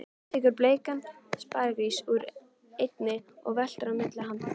Tekur bleikan sparigrís úr einni og veltir á milli handanna.